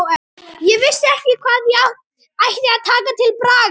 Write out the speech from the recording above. Ég vissi ekki hvað ég ætti að taka til bragðs.